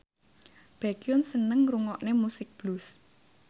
Baekhyun seneng ngrungokne musik blues